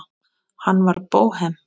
Hann var bóhem.